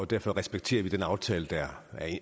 derfor respekterer vi den aftale der